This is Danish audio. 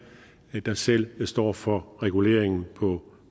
der selv står for reguleringen på